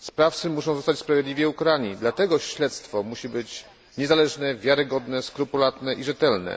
Sprawcy muszą zostać sprawiedliwie ukarani, dlatego śledztwo musi być niezależne, wiarygodne, skrupulatne i rzetelne.